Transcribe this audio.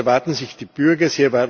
Das erwarten sich die Bürger.